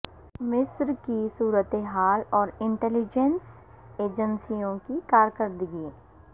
مصر کی صورتحال اور انٹیلی جینس ایجنسیوں کی کاکردگی